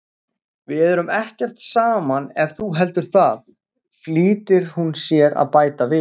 En við erum ekkert saman ef þú heldur það, flýtir hún sér að bæta við.